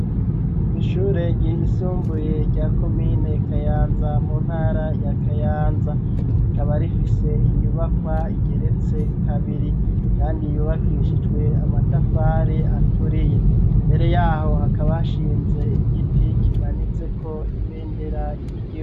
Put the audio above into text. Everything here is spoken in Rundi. Ishure ryisumbuye rya komine kayanza mu ntara ya kayanza ikaba rifise inyubakwa igeretse kabiri kandi yubakishijwe amatafari aturiye mbere yaho hakaba hashinze igiti kimanitse ko ibendera ryiza.